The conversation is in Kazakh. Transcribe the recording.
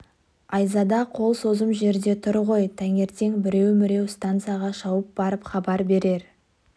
айзада қол созым жерде тұр ғой таңертең біреу-міреу станцияға шауып барып хабар берер